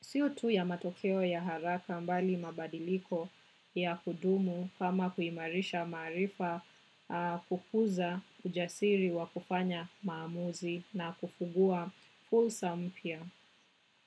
Sio tu ya matokeo ya haraka bali mabadiliko ya kudumu kama kuimarisha maarifa kukuza ujasiri wa kufanya maamuzi na kufungua fursa mpya.